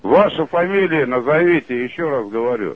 ваша фамилия назовите ещё раз говорю